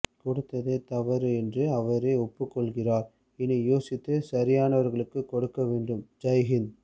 கொடுத்ததே தவறு என்று அவரே ஒப்புக்கொள்கிறார் இனி யோசித்து சரியானவர்களுக்கு கொடுக்கவேண்டும் ஜைஹிந்த்